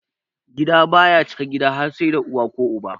Gida baya cika gida har sai da uwa ko uba.